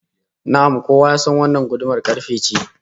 Na'am, kowa ya san wannan gudumar karfe ce